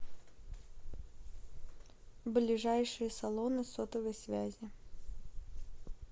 ближайшие салоны сотовой связи